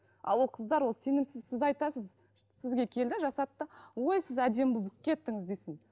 ал ол қыздар ол сенімсіз сіз айтасыз сізге келді жасатты ой сіз әдемі болып кеттіңіз десе